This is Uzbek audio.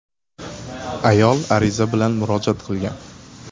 (ayol) ariza bilan murojaat qilgan.